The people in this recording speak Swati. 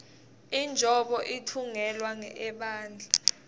injobo itfungelwa ebandla